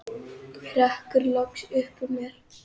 hrekkur loks upp úr mér.